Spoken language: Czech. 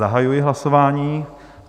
Zahajuji hlasování.